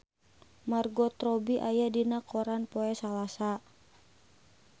Margot Robbie aya dina koran poe Salasa